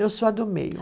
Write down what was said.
Eu sou a do meio.